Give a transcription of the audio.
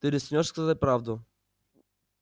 ты рискнёшь сказать правду